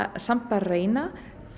samt að reyna